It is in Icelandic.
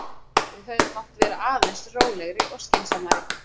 Við hefðum mátt vera aðeins rólegri og skynsamari.